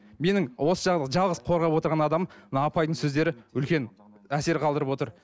менің осы жалғыз қорғап отырған адамым мына апайдың сөздері үлкен әсер қалдырып отыр